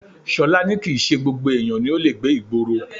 Ṣọlá ní kìí ṣe gbogbo èèyàn ni ó le gbé ìgboro